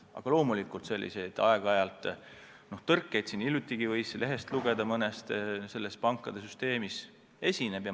Aga nagu hiljuti lehest lugeda võis, aeg-ajalt niisuguseid tõrkeid pankade süsteemis esineb.